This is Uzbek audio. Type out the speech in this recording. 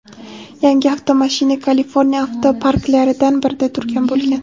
Yangi avtomashina Kaliforniya avtoparklaridan birida turgan bo‘lgan.